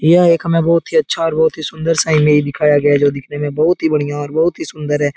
यह एक हमें बहुत ही अच्छा और बहुत ही सुंदर सा इमेज दिखाया गया है जो दिखने में बहुत ही बढ़िया और बहुत ही सुंदर है।